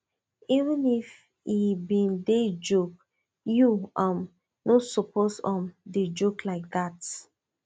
even if he bin dey joke you um no suppose um dey joke like dat